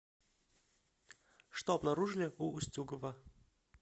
что обнаружили у устюгова